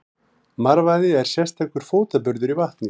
Marvaði er sérstakur fótaburður í vatni.